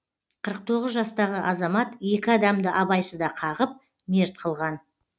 қырық тоғыз жастағы азамат екі адамды абайсызда қағып мерт қылған